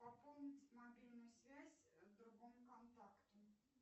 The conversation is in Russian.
пополнить мобильную связь другому контакту